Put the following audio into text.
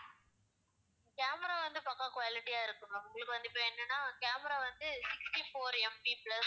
camera வந்து பக்கா quality ஆ இருக்கும் ma'am உங்களுக்கு வந்து இப்ப என்னனா camera வந்து sixty-four MP plus